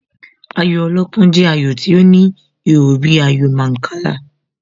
Ayò alọ́pọ́n jẹ́ ayò tí ó ní ihò bíi ayò Mancala.